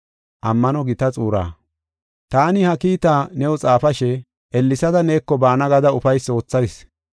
Taani ha kiitaa new xaafashe, ellesada neeko baana gada ufaysi wothayis.